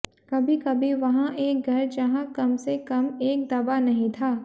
कभी कभी वहाँ एक घर जहां कम से कम एक दवा नहीं था